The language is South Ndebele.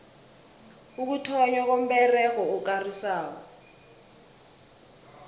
ukuthonnywa komberego okarisako